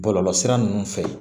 Bɔlɔlɔsira ninnu fɛ